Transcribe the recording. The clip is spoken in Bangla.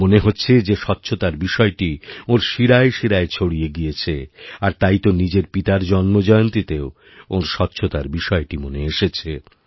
মনেহচ্ছে যে স্বচ্ছতার বিষয়টি ওঁর শিরায় শিরায় ছড়িয়ে গিয়েছে আর তাই তো নিজের পিতারজন্মজয়ন্তীতেও ওঁর স্বচ্ছতার বিষয়টি মনে এসেছে